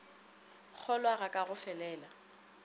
kgolwa ga ka go felela